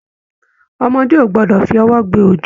Ọmọdé o gbọdọ fi ọwọ gbé ojo.